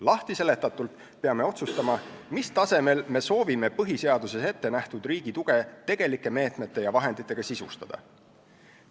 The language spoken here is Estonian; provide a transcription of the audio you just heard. Lahtiseletatult peame otsustama, mis tasemel me soovime põhiseaduses ette nähtud riigi tuge tegelike meetmete ja vahenditega sisustada.